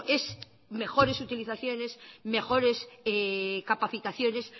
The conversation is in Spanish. es mejores utilizaciones mejores capacitaciones